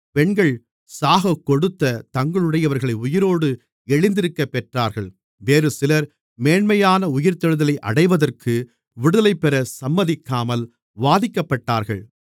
பெண்கள் சாகக்கொடுத்த தங்களுடையவர்களை உயிரோடு எழுந்திருக்கப் பெற்றார்கள் வேறுசிலர் மேன்மையான உயிர்த்தெழுதலை அடைவதற்கு விடுதலைபெறச் சம்மதிக்காமல் வாதிக்கப்பட்டார்கள்